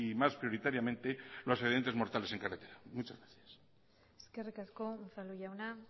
más prioritariamente los accidentes mortales en carretera muchas gracias eskerrik asko unzalu jauna